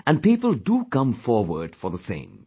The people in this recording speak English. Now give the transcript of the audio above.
And people do come forward for the same